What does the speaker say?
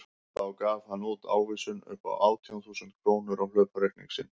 Þá gaf hann út ávísun upp á átján þúsund krónur á hlaupareikning sinn.